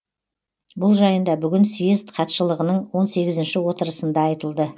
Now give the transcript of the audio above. бұл жайында бүгін съезд хатшылығының он сегізінші отырысында айтылды